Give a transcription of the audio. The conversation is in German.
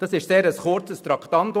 Es war ein sehr kurzes Traktandum.